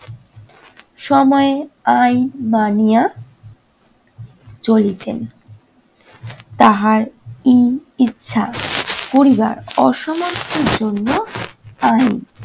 সময়ে আইন মানিয়া চলিতেন। তাহার ই ইচ্ছা করিবার অসমর্থের জন্য file